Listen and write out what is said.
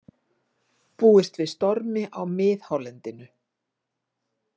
Búist við stormi á miðhálendinu